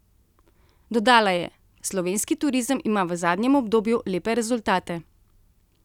Dodala je: "Slovenski turizem ima v zadnjem obdobju lepe rezultate.